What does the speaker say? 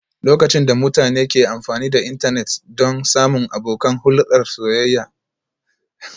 Lokacin da mutane ke amfani da intanet don samun abokan hulɗar soyayya ana kiran su online dating